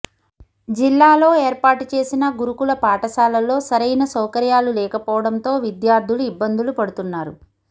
జిల్లాలో ఏర్పాటు చేసిన గురుకుల పాఠశాలల్లో సరైన సౌకర్యాలు లేకపోవడంతో విద్యార్థులు ఇబ్బందులు పడుతున్నారు